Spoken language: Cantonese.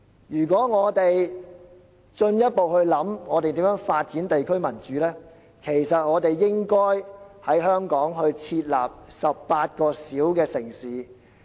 如果我們研究如何進一步發展地區民主，我們應在香港設立18個小城市。